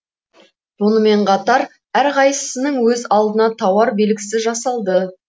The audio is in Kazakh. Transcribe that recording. сонымен қатар әр қайсысының өз алдына тауар белгісі жасалды